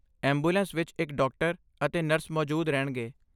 Ambulance ਵਿੱਚ ਇੱਕ doctor ਅਤੇ ਨਰਸ ਮੌਜੂਦ ਰਹਿਣਗੇ।